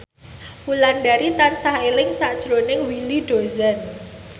Wulandari tansah eling sakjroning Willy Dozan